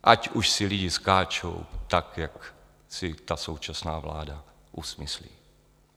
Ať už si lidi skáčou tak, jak si ta současná vláda usmyslí.